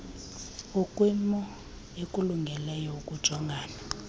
ukwimo ekulungeleyo ukujongana